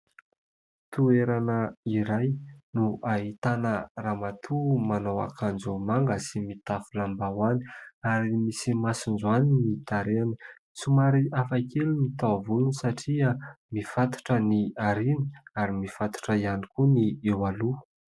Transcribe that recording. Toerana iray no ahitana ramatoa manao akanjo manga sy mitafy lambahoany ary misy masonjoany ny tarehiny. Somary hafa kely ny taovolony satria mifatotra ny aoriana ary mifatotra ihany koa ny eo aloha.